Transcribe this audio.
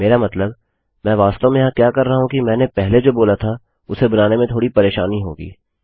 मेरा मतलब मैं वास्तव में यहाँ क्या कर रहा हूँ कि मैंने पहले जो बोला था उसे बनाने में थोड़ी परेशानी होगी